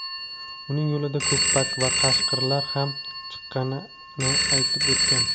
uning yo‘lida "ko‘ppak" va "qashqir"lar ham chiqqanini aytib o‘tgan.